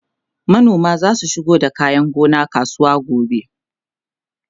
manoman zasu shigo da kayan gona kasuwa gobe